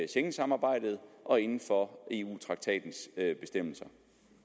schengensamarbejdet og inden for eu traktatens bestemmelser